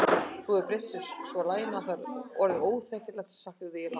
Þú hefur breytt svo laginu að það er orðið óþekkjanlegt sagði ég lágt.